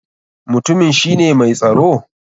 Mutumin shi ne mai tsaro?